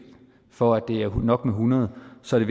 for at det er nok med hundrede så er